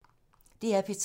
DR P3